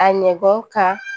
A ɲɛ bɔ ka